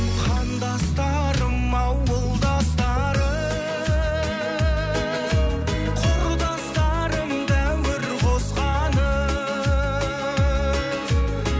қандастарым ауылдастарым құрдастарым дәуір қосқаным